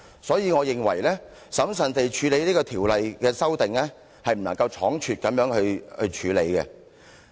所以我認為應審慎處理這項《條例草案》，不能倉促。